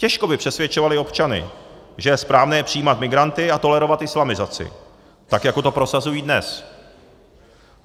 Těžko by přesvědčovali občany, že je správné přijímat migranty a tolerovat islamizaci, tak jako to prosazují dnes.